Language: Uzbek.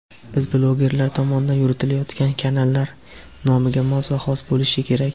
Biz blogerlar tomonidan yuritilayotgan kanallar nomiga mos va xos bo‘lishi kerak.